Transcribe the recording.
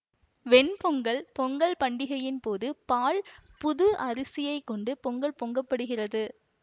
வெண் பொங்கல் பொங்கல் பண்டிகையின் போது பால் புது அரிசியைக் கொண்டு பொங்கல் பொங்க படுகிறது